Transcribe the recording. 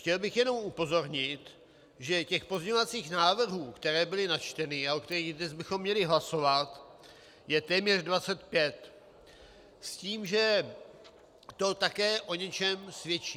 Chtěl bych jenom upozornit, že těch pozměňovacích návrhů, které byly načteny a o kterých dnes bychom měli hlasovat, je téměř 25, s tím, že to také o něčem svědčí.